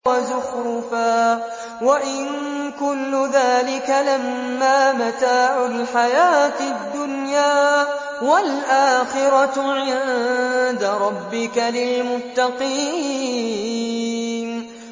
وَزُخْرُفًا ۚ وَإِن كُلُّ ذَٰلِكَ لَمَّا مَتَاعُ الْحَيَاةِ الدُّنْيَا ۚ وَالْآخِرَةُ عِندَ رَبِّكَ لِلْمُتَّقِينَ